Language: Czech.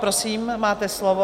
Prosím, máte slovo.